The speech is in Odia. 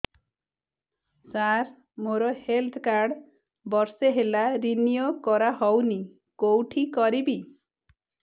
ସାର ମୋର ହେଲ୍ଥ କାର୍ଡ ବର୍ଷେ ହେଲା ରିନିଓ କରା ହଉନି କଉଠି କରିବି